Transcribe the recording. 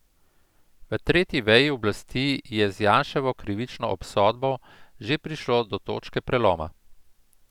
V tretji veji oblasti je z Janševo krivično obsodbo že prišlo do točke preloma.